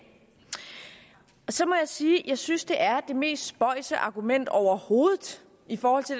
så må jeg sige at jeg synes at det er det mest spøjse argument overhovedet i forhold til